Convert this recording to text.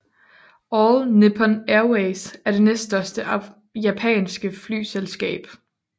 All Nippon Airways er det næststørste japanske flyselskab